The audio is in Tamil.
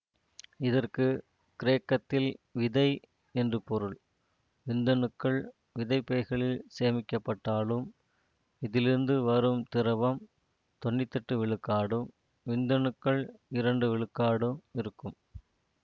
இதற்கு கிரேக்கத்தில் விதை என்று பொருள் விந்தணுக்கள் விதைப்பைகளில் சேமிக்கப்பட்டாலும் இதிலிருந்து வரும் திரவம் தொன்னூத்தி எட்டு விழுக்காடும் விந்தணுக்கள் இரண்டு விழுக்காடும் இருக்கும்